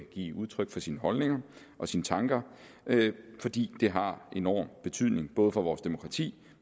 give udtryk for sine holdninger og sine tanker fordi det har enorm betydning både for vores demokrati